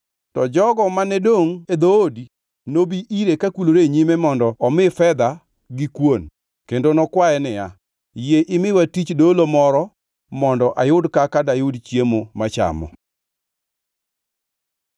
To jogo mane dongʼ e dhoodi nobi ire kakulore e nyime mondo omi fedha gi kuon kendo nokwaye niya, “Yie imiya tich dolo moro mondo ayud kaka dayud chiemo machamo.” ’”